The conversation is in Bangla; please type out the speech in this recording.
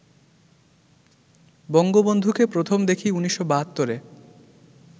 বঙ্গবন্ধুকে প্রথম দেখি ১৯৭২-এ